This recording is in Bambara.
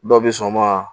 Dɔw bɛ sɔn o ma